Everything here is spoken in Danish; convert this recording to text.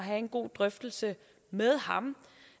sige